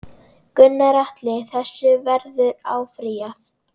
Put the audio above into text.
Gunnar Atli: Þessu verður áfrýjað?